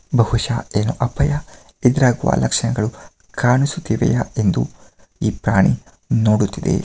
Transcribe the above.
ಬಹುಶಹ ಇದರ ಅಪಾಯ ಎದುರಾಗುವ ಲಕ್ಷಣಗಳು ಕಾಣಿಸುತ್ತಿವೆ ಎಂದು ಈ ಪ್ರಾಣಿ .ನೋಡುತ್ತಿದೆ .